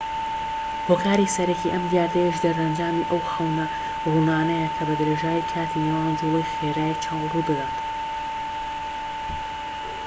هۆکاری سەرەکی ئەم دیاردەیەش دەرئەنجامی ئەو خەونە ڕوونانەیە کە بەدرێژایی کاتی نێوان جوڵەی خێرای چاو ڕوودەدەن